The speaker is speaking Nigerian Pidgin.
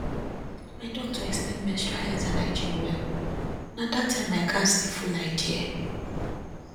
my doctor explain menstrual health and hygiene well na that time i gatz the full idea